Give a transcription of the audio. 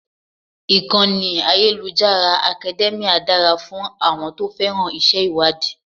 Ìkànnì ayélujára Academia dára fún àwọn tó féràn iṣẹ́ ìwádìí.